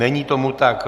Není tomu tak.